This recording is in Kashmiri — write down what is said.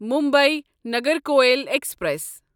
مُمبے نگرکویل ایکسپریس